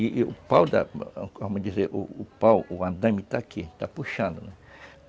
E o pau, vamos dizer, o pau, o andaime está aqui, está puxando, né.